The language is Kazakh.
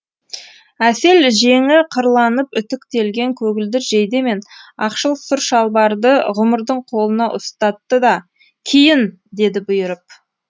әсел жеңі қырланып үтіктелген көгілдір жейде мен ақшыл сұр шалбарды ғұмырдың қолына ұстатты да киін деді бұйырып